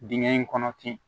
Dingɛ in kɔnɔ ten